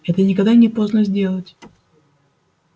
это никогда не поздно сделать